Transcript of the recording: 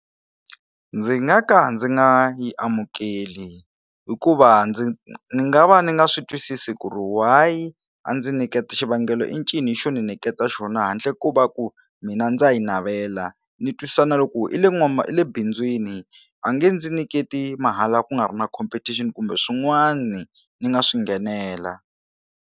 Ndzi nga ka ndzi nga yi amukeli hikuva ndzi ni nga va ni nga swi twisisi ku ri why a ndzi nyiketa xivangelo i ncini xo ni niketa xona handle ko ku va ku mina ndza yi navela ni twisisa na loko i le i le bindzwini a nge ndzi niketi mahala ku nga ri na competition kumbe swin'wana ni nga swi nghenela.